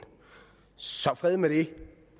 så fred med det